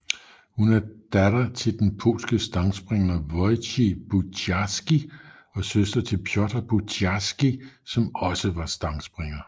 Hun er datter til den polske stangspringer Wojciech Buciarski og søster til Piotr Buciarski som også var stangspringer